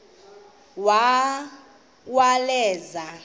uwaleza